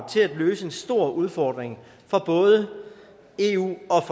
til at løse en stor udfordring for både eu og